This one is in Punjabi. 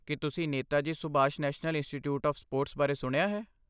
ਕੀ ਤੁਸੀਂ Netaji Subhash National Institute of Sports ਬਾਰੇ ਸੁਣਿਆ ਹੈ?